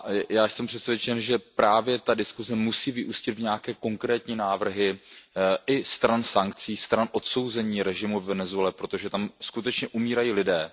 Já jsem přesvědčen, že právě ta diskuse musí vyústit v nějaké konkrétní návrhy i stran sankcí, stran odsouzení režimu ve Venezuele, protože tam skutečně umírají lidé.